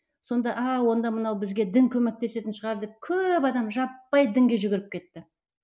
сонда ааа онда мынау бізге дін көмектесетін шығар деп көп адам жаппай дінге жүгіріп кетті